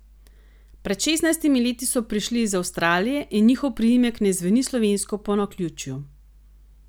Pred šestnajstimi leti so prišli iz Avstralije in njihov priimek ne zveni slovensko po naključju.